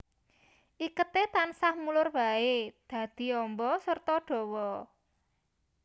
Iketé tansah mulur baé dadi amba serta dawa